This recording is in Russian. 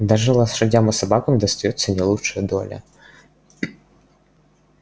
даже лошадям и собакам достаётся не лучшая доля